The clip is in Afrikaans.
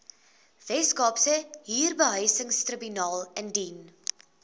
weskaapse huurbehuisingstribunaal indien